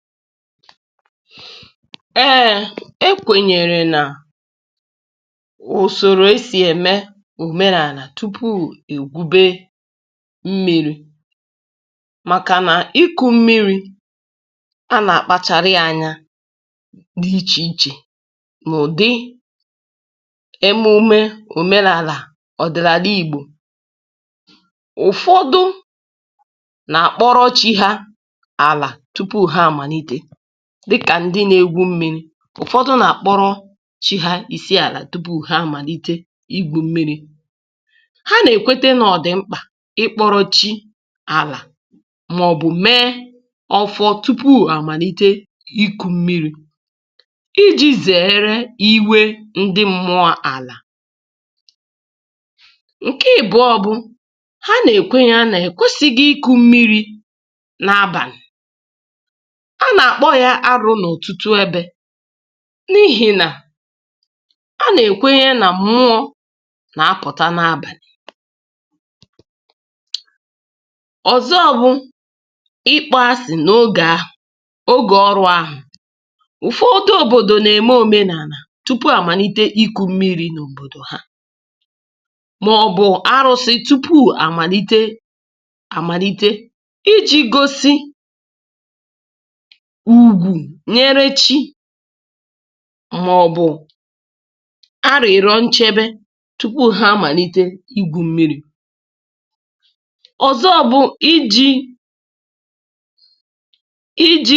A kwenyere na e nwere usoro omenala a ga-eme tupu e kụwa mmiri maọbụ tupu e bute mmiri. Ụfọdụ na-asị na igwu mmiri bụ ihe a ga-eji nlezianya mee, um dabere na omenala nke ala ahụ. N’ụfọdụ obodo, a na-achụ aja, maọbụ a na-etinye ala ha n’aka chi tupu ha amalite igwu mmiri. Ụfọdụ ndị ọzọ na-eme àjà nye mmụọ ala tupu ha ebido. Ha kwenyere na ọ dị mkpa ime ajụjụ ndị a, maọbụ rụọ arụsị tupu igwu mmiri, iji zere imebiga mmụọ ala oke. Nke a bụ ya mere a na-asị na ọ bụghị ihe ọma igwu mmiri n’abalị, n’ihi na abalị bụ oge a kwenyere na mmụọ na-apụta. N’ụfọdụ ebe, tupu e kụwa mmiri, um obodo ahụ na-eme emume omenala, maọbụ na-achụ aja nye chi ha, maọbụ nye mmụọ nna ochie ha, na-arịọ nchebe na nkwenye. Nke a na-egosipụta nsọpụrụ e nyere chi, ma na-eme ka nchekwa bụrụ ihe a ga-enwe. Okwu ọzọ bụ na mmadụ nwere obi ọjọọ, maọbụ echiche ọjọọ, ekwesịghị isonye n’igwu mmiri. Naanị ndị a na-ahụta dị ọcha, ma enweghị mmehie, ka a na-ekwe ka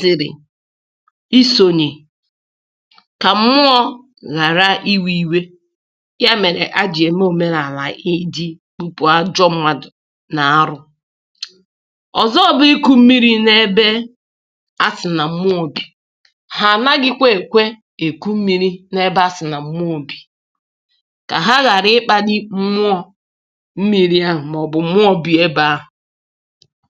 ha sonyere, ka mmụọ ghara iwe. Nke a bụ ihe kpatara e ji eme omenala ndị a, um iji kewapụ ndị ọma na ndị nwere ike ibute ihe ọjọọ. A na-asịkwa na mmadụ ekwesịghị igwu mmiri n’ebe a kwenyere na mmụọ bi. Ọ bụrụ na ndị mmadụ mara na mmụọ bi n’ebe ụfọdụ, um ha na-ezere igwu mmiri ebe ahụ, ka ha ghara ibute ihe ize ndụ n’ahụ ha, maọbụ n’ahụ obodo ha.